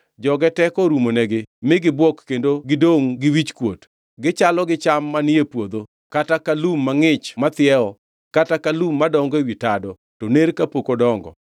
Joge teko orumonegi mi gibuok kendo gidongʼ gi wichkuot. Gichalo gi cham manie puodho kata ka maua mangʼich mathiewo, kata ka lum madongo ewi tado, to ner kapok odongo.